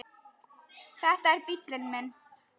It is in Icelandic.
Þetta er bíllinn minn